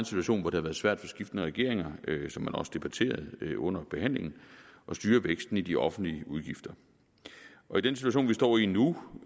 situation hvor det har været svært for skiftende regeringer hvilket man også debatterede under behandlingen at styre væksten i de offentlige udgifter i den situation vi står i nu